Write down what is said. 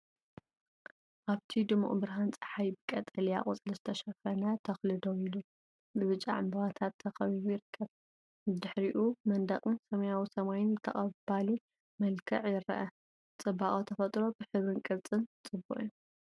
ኣብቲ ድሙቕ ብርሃን ጸሓይ፡ ብቀጠልያ ቆጽሊ ዝተሸፈነ ተኽሊ ደው ኢሉ፡ ብብጫ ዕምባባታት ተኸቢቡ ይርከብ። ብድሕሪኡ መንደቕን ሰማያዊ ሰማይን ብተቐባሊ መልክዕ ይረአ። ጽባቐ ተፈጥሮ ብሕብርን ቅርጽን ጽቡቕ'ዩ።